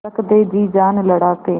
रख दे जी जान लड़ा के